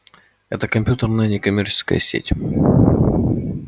это компьютерная некоммерческая сеть